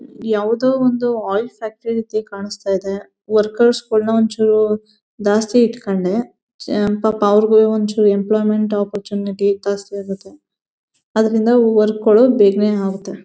ಯಾವುದೊ ಒಂದು oil factory ರೀತಿ ಕಾಣುಸ್ತಾ ಇದೆ. ವರ್ಕರ್ಸ್ ಗಳ್ನ ಒಂಚೂರ್ ಜಾಸ್ತಿ ಇಟ್ಕಂಡೇ ಛೆ ಪಾಪ ಅವರಿಗೂ ಒಂಚೂರ್ ಎಂಪ್ಲಾಯ್ಮೆಂಟ್ ಅಪರ್ಚುನಿಟಿ ಜಾಸ್ತಿ ಆಗತ್ತೆ ಅದ್ರಿಂದ ವರ್ಕ್ ಗಳು ಬೇಗನೆ ಆಗತ್ತೆ.